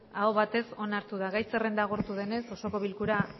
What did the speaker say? aho batez onartu da gai zerrenda agortu denez osoko bilkura